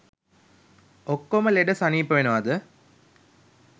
ඔක්කෝම ලෙඩ සනීප වෙනවද